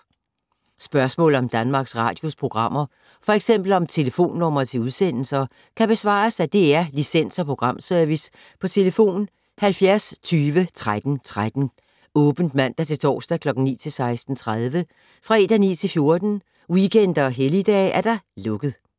Spørgsmål om Danmarks Radios programmer, f.eks. om telefonnumre til udsendelser, kan besvares af DR Licens- og Programservice: tlf. 70 20 13 13, åbent mandag-torsdag 9.00-16.30, fredag 9.00-14.00, weekender og helligdage: lukket.